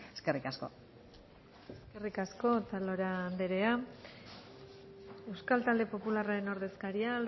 eskerrik asko eskerrik asko otalora anderea euskal talde popularraren ordezkaria